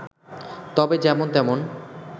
তবে যেমন তেমন